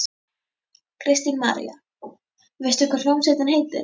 Kristín María: Veistu hvað hljómsveitin heitir?